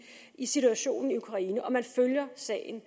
i situationen i ukraine og man følger sagen